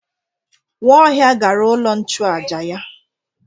Nwaohia gara ulo nchuaja ya.